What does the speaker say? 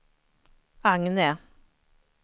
Agne